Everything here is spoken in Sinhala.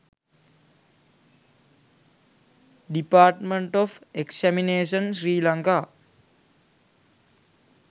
department of examination sri lanka